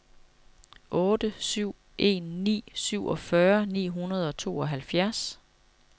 otte syv en ni syvogfyrre ni hundrede og tooghalvfjerds